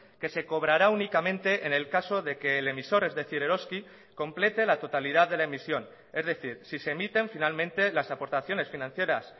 que se cobrará únicamente en el caso de que el emisor es decir eroski complete la totalidad de la emisión es decir si se emiten finalmente las aportaciones financieras